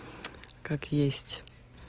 как есть